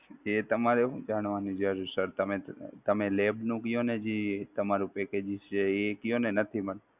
એ તમારે શું જાણવાની જરૂર sir તમે lab નું કયો ને જે તમારું packages છે એ કયો ને નથી મળતું.